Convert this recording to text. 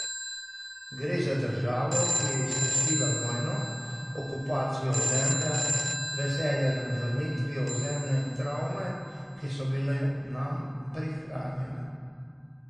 Gre za državo, ki je izkusila vojno, okupacijo ozemlja, veselje nad vrnitvijo ozemlja in travme, ki so bile nam prihranjene.